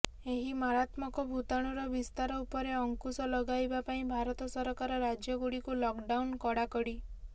ଏହି ମାରାତ୍ମକ ଭୂତାଣୁର ବିସ୍ତାର ଉପରେ ଅଙ୍କୁଶ ଲଗାଇବା ପାଇଁ ଭାରତ ସରକାର ରାଜ୍ୟଗୁଡିକୁ ଲକଡାଉନ କଡାକଡି